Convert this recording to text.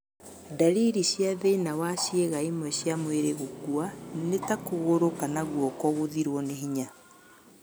Ndariri cia thĩna wa ciĩga imwe cia mwĩrĩ gũkua nĩ ta kũgũru kana guoko gũthirĩrwo nĩ hinya